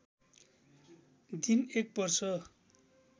दिन एक वर्ष